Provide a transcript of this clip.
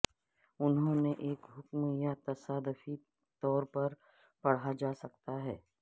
انہوں نے ایک حکم یا تصادفی طور پر پڑھا جا سکتا ہے